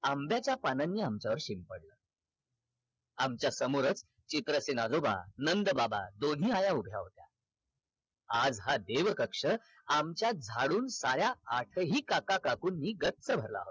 आंब्याच्या पानांनी आमच्या अंगावर शिंपडल आमच्या समोरच चित्रसेन आजोबा नंद बाबा दोन्ही आया उभ्या होत्या आज हा देव कक्ष आमच्या झाडून साऱ्या आठही काका काकूंनी गच्च भरला होता